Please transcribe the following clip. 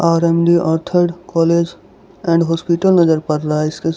RMD college and hospital इसके--